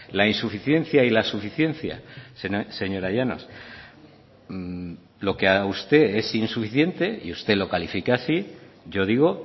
la insuficiencia y la suficiencia señora llanos lo que a usted es insuficiente y usted lo califica así yo digo